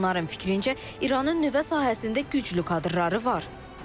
Onların fikrincə, İranın nüvə sahəsində güclü kadrları var.